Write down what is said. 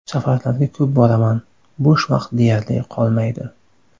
Safarlarga ko‘p boraman, bo‘sh vaqt deyarli qolmaydi.